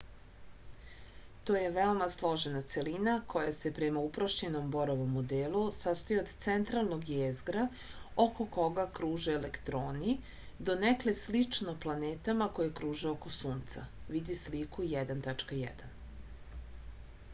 to je veoma složena celina koja se prema uprošćenom borovom modelu sastoji od centralnog jezgra oko koga kruže elektroni donekle slično planetama koje kruže oko sunca vidi sliku 1.1